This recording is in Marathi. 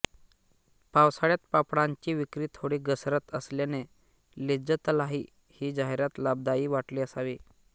पावसाळ्यात पापडांची विक्री थोडी घसरत असल्याने लिज्जतलाही ही जाहिरात लाभदायी वाटली असावी